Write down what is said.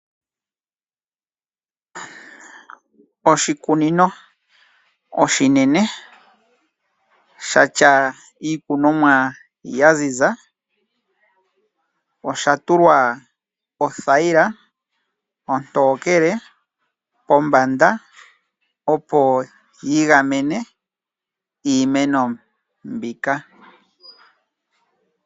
Oshikunino oshinene sha tya iikunomwa ya ziza osha tulwa othayila ontokele kombanda, opo yi gamene iimeno mbika.